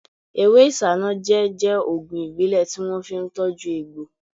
Ewé isanaje jẹ́ ògùn ìbílẹ̀ tí wọ́n fi ń tọju egbò